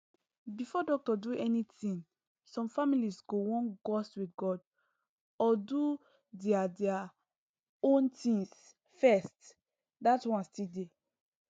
before doctor do anything some families go wan gust with god or do their their own things first that one still dey